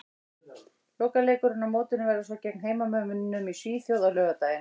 Lokaleikurinn á mótinu verður svo gegn heimamönnum í Svíþjóð á laugardaginn.